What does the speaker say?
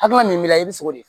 Hakilina min b'i la i bi sogo de